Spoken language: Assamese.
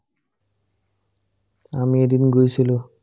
আমি এদিন গৈছিলো ।